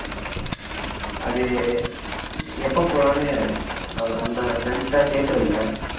அது எப்போ போலாம்னு நம்ம friends கிட்ட கேட்டுருந்தேன்